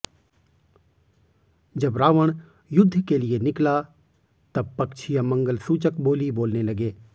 जब रावण युद्ध के लिए निकला तब पक्षी अमंगलसूचक बोली बोलने लगे